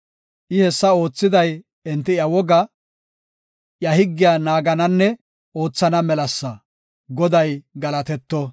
I hessa oothiday enti iya wogaa iya higgiya naagananne oothana melasa. Goday galatetto!